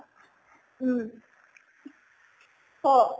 উম কʼ